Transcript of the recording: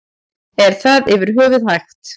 Er það yfir höfuð hægt?